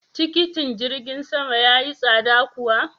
Tikitin jirgin sama ya yi tsada kuwa?